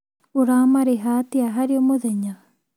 Ũramarĩha atĩa harĩ mũthenya?